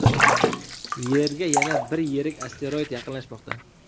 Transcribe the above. Yerga yana bir yirik asteroid yaqinlashmoqda.